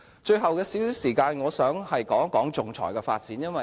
最後有少許時間，我想談談仲裁的發展。